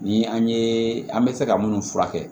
Ni an ye an bɛ se ka minnu furakɛ